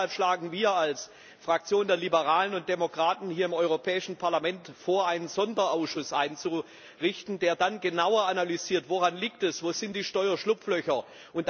Deshalb schlagen wir als Fraktion der Liberalen und Demokraten hier im Europäischen Parlament vor, einen Sonderausschuss einzurichten, der dann genauer analysiert, woran es liegt, wo die Steuerschlupflöcher sind.